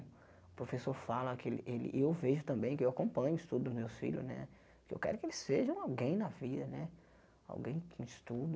O professor fala que ele ele, e eu vejo também, que eu acompanho o estudo dos meus filhos né, que eu quero que eles sejam alguém na vida né, alguém que estudo,